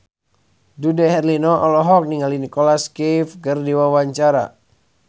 Dude Herlino olohok ningali Nicholas Cafe keur diwawancara